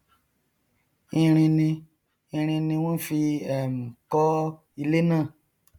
irin ni irin ni wọn fí um kọ ilé náà